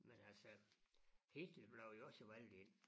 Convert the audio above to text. Men altså Hitler blev jo også valgt ind